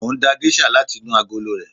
Mo ń da géṣà láti inú agolo rẹ̀.